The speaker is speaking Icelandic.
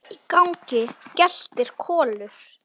Frammi í gangi geltir Kolur.